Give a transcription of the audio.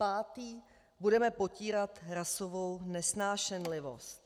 Pátý: budeme potírat rasovou nesnášenlivost.